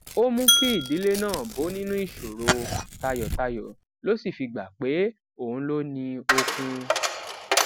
ó mú kí ìdílé náà bó nínú ìṣòro tayòtayò ló sì fi gbà pé òun ló ní okun